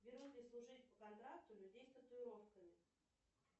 берут ли служить по контракту людей с татуировками